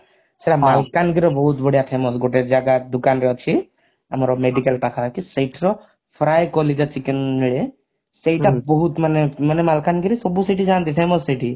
ସେଟା ମାଲକାନଗିରି ରେ ବହୁତ ବଢିଆ famous ଗୋଟେ ଜାଗା ଦୋକାନ ରେ ଅଛି ଆମର medical ପାଖ ପାଖି ସେଠିର fry କଲିଜା chicken ମିଳେ ସେଟା ବହୁତ ମାନେ ମାନେ ମାଲକାନଗିରି ରେ ସବୁ ସେଇଠି ଯାଆନ୍ତି famous ସେଇଠି